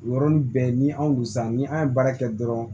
O yɔrɔnin bɛɛ ni anw dusu sa ni an ye baara kɛ dɔrɔn